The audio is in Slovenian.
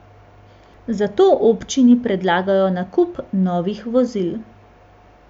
Zato občini predlagajo nakup novih vozil.